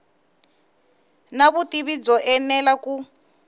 na vutivi byo enela ku